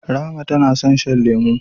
Rahma tana son shan lemu.